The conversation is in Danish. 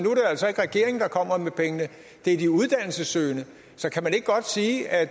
altså ikke regeringen der kommer med pengene det er de uddannelsessøgende så kan man ikke godt sige at